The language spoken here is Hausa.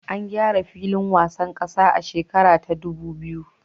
An gyara filin wasan kasa a shekara ta ɗubu biyu